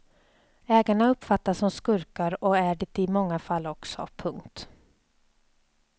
Ägarna uppfattas som skurkar och är det i många fall också. punkt